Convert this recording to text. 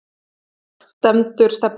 Hvar stendur stefnan?